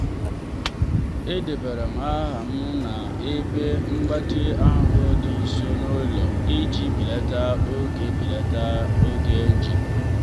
edebara aha m na-ebe mgbatị ahụ dị nso n'ụlọ iji belata oge belata oge njem.